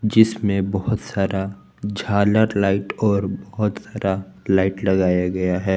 जिसमें बहुत सारा झालर लाइट और बहुत सारा लाइट लगाया गया है।